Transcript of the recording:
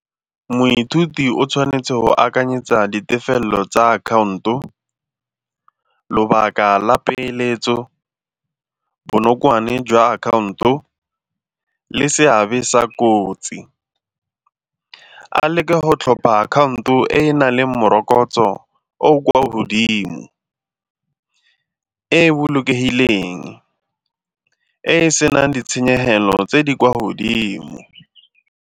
Moithuti o tshwanetse go akanyetsa ditefelelo tsa akhaonto, lobaka la peeletso, bonokwane jwa akhaonto le seabe sa kotsi. A leke go tlhopha akhaonto e e na leng morokotso o o kwa godimo, e e bolokegileng, e e senang ditshenyegelo tse di kwa godimo.